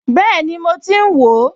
Bẹ́ẹ̀ni, mo ti ń wò ó